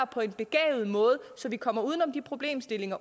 på en begavet måde så vi kommer uden om de problemer